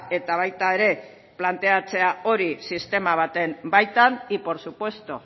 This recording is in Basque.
eta baita ere planteatzea hori sistema baten baitan y por supuesto